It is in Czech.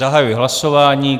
Zahajuji hlasování.